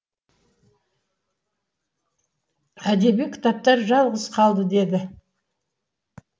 әдеби кітаптар жалғыз қалды деді